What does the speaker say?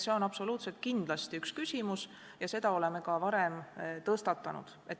See on kindlasti tähtis küsimus ja seda oleme ka varem tõstatanud.